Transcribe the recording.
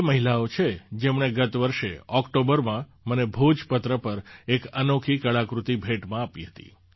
આ એ મહિલાઓ છે જેમણે ગત વર્ષે ઑક્ટોબરમાં મને ભોજપત્ર પર એક અનોખી કળાકૃતિ ભેટમાં આપી હતી